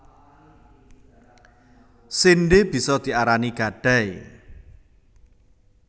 Séndhé bisa diarani gadai